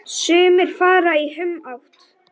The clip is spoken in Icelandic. Sumir fara í humátt.